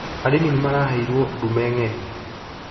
Arĩmi nĩ maraheirwo ndume ng'eni